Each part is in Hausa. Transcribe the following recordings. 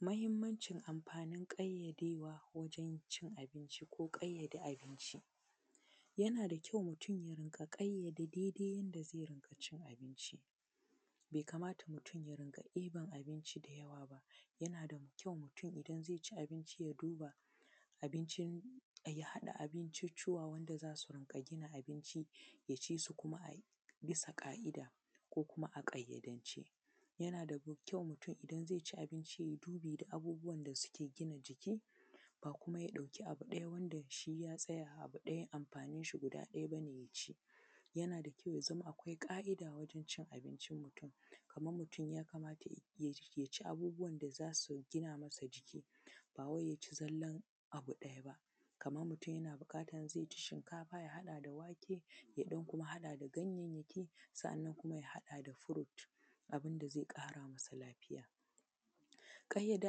Mahimmancin amfanin ƙayyadewa wajen cin abinci ko ƙayyade abinci, yana da kyau mutum ya rinƙa ƙayyade abinci, yana da kyau mutum ya rinƙa ƙayyade dai-dai yanda zai rinƙa cin abinci; bai kamata mutum ya ringa ɗeben abinci da yawa. Yana da kyau mutum idan zai ci abinci ya duba abincin ya haɗa abinciccuwan wanda za su rinƙa gina abinci ya ci su kuma a bisa ƙa’ida ko kuma a ƙayyadance yana da kyau mutum idan zai ci abinci ya duba abubuwan da suke gina jiki ba kuma ya ɗauki abu ɗaya wanda shi ya san ya tsaya. A abu ɗaya wanda amfanin shi ɗaya ne yana da kyau ya zama akwai ƙa’ida a wajen cin abincin mutum kaman mutum ya kamata ya ci abubuwan da za su gina mai jiki ba wai ya ci zallan abu ɗaya ba, kaman mutum yana buƙatan zai ci shinkafa ya haɗa da wake ya ɗan kuma haɗa da gayyanyaki. Sannan kuma ya haɗa da fruit abun da zai ƙara masa lafiya, ƙayyade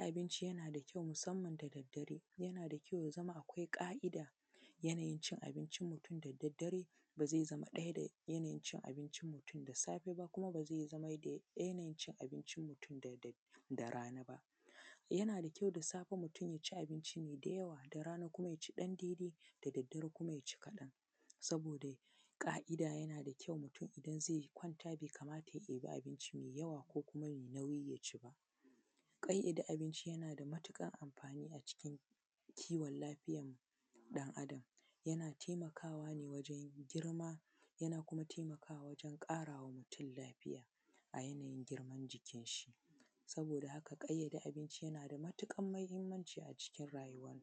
abinci yana da kyau musamman da daddare yana da kyau ya zama akwai ƙa’ida yanayin cin abincin mutum da daddare ba zai zama ɗaya da yanayin cin abinci da safe kuma ba zai zama yanayin cin abincin mutum da rana ba yana da kyau mutum da safe ya ci abinci ne da yawa da rana kuma ya ci ɗan daidai da daddare kuma ya ci kaɗan saboda ƙa’ida. Yana da kyau mutum idan zai kwanta bai kamata ya ɗiba abinci mai yawa ko kuma mai nauyi ya ci ba, ƙayyade abinci yana da matukar amfani a cikin kiwon lafiyan ɗan’Adam yana taimakawa ne wajen girma, yana kuma taimakawa wajen ƙara ma mutum lafiya a yanayin girman jikin shi saboda haka ƙayyade abinci yana da matuƙar mahimmanci a cikin rayuwa.